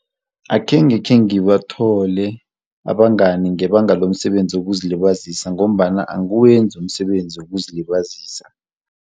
Akhenge khengibathole abangani ngebanga lomsebenzi wokuzilibazisa ngombana angiwenzi umsebenzi wokuzilibazisa.